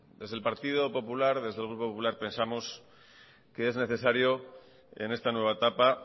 desde el partido popular desde el grupo popular pensamos que es necesario en esta nueva etapa